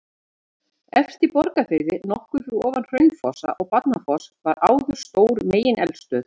Efst í Borgarfirði, nokkuð fyrir ofan Hraunfossa og Barnafoss var áður stór megineldstöð.